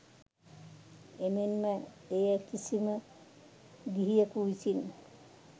එමෙන් ම එය කිසිම ගිහියකු විසින්